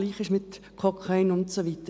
das Gleiche gilt für Kokain und so weiter.